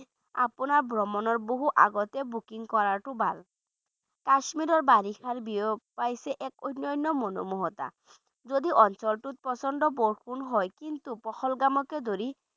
আপোনাৰ ভ্ৰমণৰ বহু আগতে booking কৰাটো ভাল কাশ্মীৰৰ বাৰিষাই বিয়পাইছে এক অন্য অন্য মনোমোহা যদি অঞ্চলটোত প্ৰচণ্ড বৰষুণ হয় পহলগামকে ধৰি